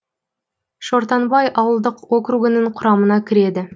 шортанбай ауылдық округінің құрамына кіреді